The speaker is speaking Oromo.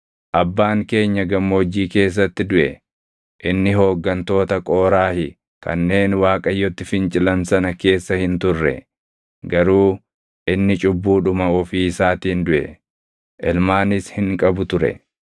“Abbaan keenya Gammoojjii keessatti duʼe. Inni hooggantoota Qooraahi kanneen Waaqayyotti fincilan sana keessa hin turre. Garuu inni cubbudhuma ofii isaatiin duʼe. Ilmaanis hin qabu ture.